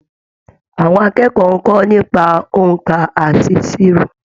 Àwọn akẹ́kọ̀ọ́ ń kọ́ nípa òǹkà àti ìṣirò.